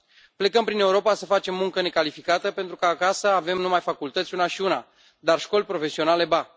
Plecăm prin Europa să facem muncă necalificată pentru că acasă avem numai facultăți una și una, dar școli profesionale ba.